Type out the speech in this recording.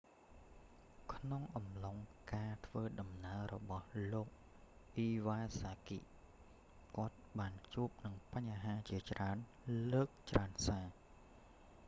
ក្នុងអំឡុងការធ្វើដំណើររបស់លោក អ៊ីវ៉ាសាគី iwasaki គាត់បានជួបនឹងបញ្ហាជាច្រើនលើកច្រើនសា